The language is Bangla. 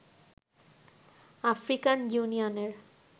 আফ্রিকান ইউনিয়নের